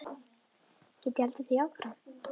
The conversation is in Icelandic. Get ég haldið því áfram?